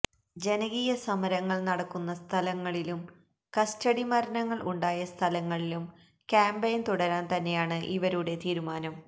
ജനകീയ സമരങ്ങള് നടക്കുന്ന സ്ഥലങ്ങളിലും കസ്റ്റഡി മരണങ്ങള് ഉണ്ടായ സ്ഥലങ്ങളിലും ക്യാമ്പൈന് തുടരാന് തന്നെയാണ് ഇവരുടെ തീരുമാനം